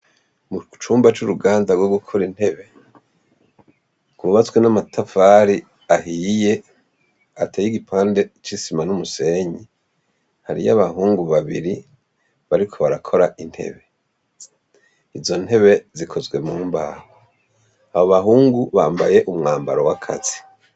Icumba c' uruganda gwo gukora intebe gwubatswe n' amatafari ahiye ateye igipande c' isima n' umusenyi, hariyo abahungu babiri bariko barakora intebe, izo ntebe zikozwe mu mbaho, abo bahungu bambaye umwambaro w' akazi.